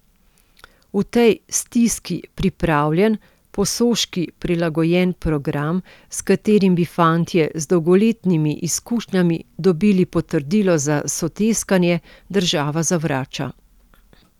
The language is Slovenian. V tej stiski pripravljen, Posoški prilagojen program, s katerim bi fantje z dolgoletnimi izkušnjami dobili potrdilo za soteskanje, država zavrača.